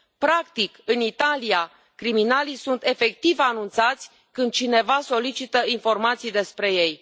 Practic, în Italia, criminalii sunt efectiv anunțați când cineva solicită informații despre ei.